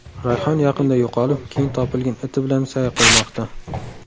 Rayhon yaqinda yo‘qolib, keyin topilgan iti bilan sayr qilmoqda.